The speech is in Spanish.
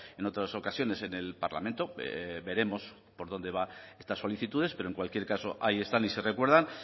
en otras ocasiones en el parlamento veremos por donde van estas solicitudes pero en cualquier caso hay están y se recuerdan